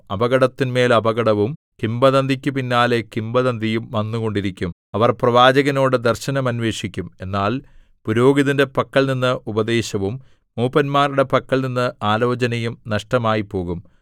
അപകടത്തിന്മേൽ അപകടവും കിംവദന്തിയ്ക്കു പിന്നാലെ കിംവദന്തിയും വന്നുകൊണ്ടിരിക്കും അവർ പ്രവാചകനോടു ദർശനം അന്വേഷിക്കും എന്നാൽ പുരോഹിതന്റെ പക്കൽനിന്ന് ഉപദേശവും മൂപ്പന്മാരുടെ പക്കൽനിന്ന് ആലോചനയും നഷ്ടമായിപ്പോകും